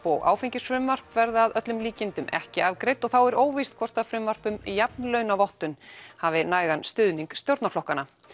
og áfengisfrumvarp verða að öllum líkindum ekki afgreidd og þá er óvíst hvort að frumvarp um jafnlaunavottun hafi nægan stuðning stjórnarflokkanna